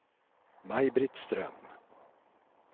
Maj-Britt Ström